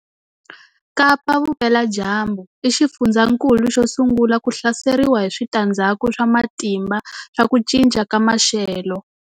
Kapa-Vupeladyambu i xifundzankulu xo sungula ku hlaseriwa hi switandzhaku swa matimba swa ku cinca ka maxelo.